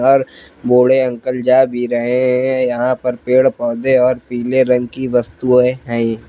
और बूढ़े अंकल जा भी रहे हैं यहां पर पेड़ पौधे और पीले रंग की वस्तुएं हैं।